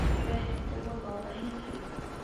Nĩwendete gũthoma hihi?